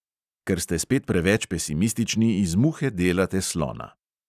Ker ste spet preveč pesimistični, iz muhe delate slona.